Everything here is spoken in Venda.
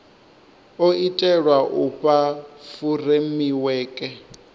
o itelwa u fha furemiweke